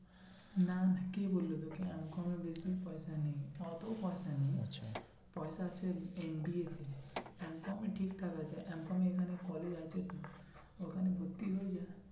না না কে বললো তোকে? বেশি পয়সা নেই অত খরচা নেই আচ্ছা পয়সা আছে MBA M com এ ঠিক ঠাক আছে M com এ এখানে collage আছে তো ওখানে ভর্তি হয়ে যা